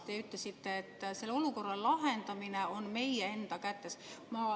Te ütlesite, et selle olukorra lahendamine on meie enda kätes.